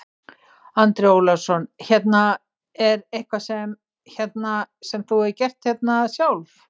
Andri Ólafsson: Hérna, er eitthvað sem, hérna, sem þú hefur gert hérna sjálf?